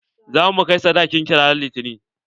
Za mu kai sadakin ki ran litani.